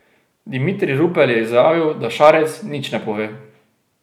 Dimitrij Rupel je izjavil, da Šarec nič ne pove.